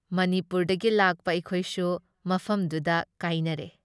ꯃꯅꯤꯄꯨꯔꯗꯒꯤ ꯂꯥꯛꯄ ꯑꯩꯈꯣꯏꯁꯨ ꯃꯐꯝꯗꯨꯗ ꯀꯥꯏꯅꯔꯦ ꯫